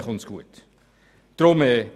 So kommt es gut heraus.